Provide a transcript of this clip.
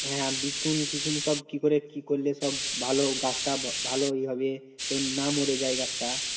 হ্যাঁ বিচুন ফিছুন সব কি করে কি করলে সব ভালো গাছটা ভালো ইয়ে হবে আর না মরে যায় গাছটা